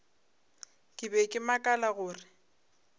ke be ke makala gore